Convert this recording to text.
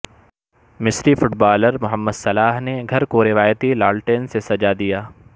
مصری footballer Mohamed Salah نے گھر کو روایتی لالٹین سے سجادیا